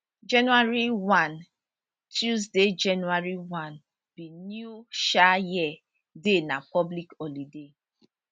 january 1 tuesday january 1 be new um year day na public holiday